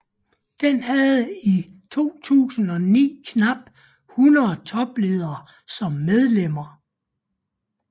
Den havde i 2009 knap 100 topledere som medlemmer